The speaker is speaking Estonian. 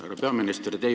Härra peaminister!